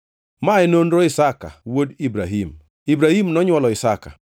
Mae nonro Isaka wuod Ibrahim. Ibrahim nonywolo Isaka,